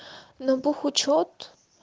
но бухучёт